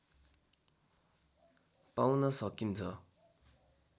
पाउन सकिन्छ